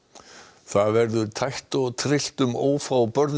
það verður tætt og tryllt um ófá